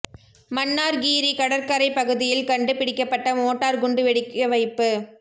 மன்னார் கீரி கடற்கரைப் பகுதியில் கண்டு பிடிக்கப்பட்ட மோட்டார் குண்டு வெடிக்க வைப்பு